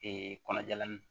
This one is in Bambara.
kɔnɔjalan